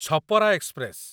Chhapra express